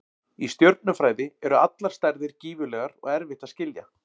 Í stjörnufræði eru allar stærðir gífurlegar og erfitt að skilja.